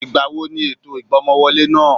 Ìgbà wo ni ètò ìgbọ́mọwọlé náà?